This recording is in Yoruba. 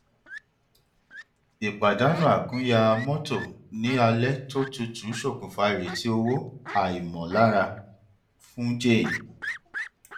ìpàdánù àkúnya mọtò ní alẹ tó tutu ṣokùnfà ìrètí owó àìmọlára fún jane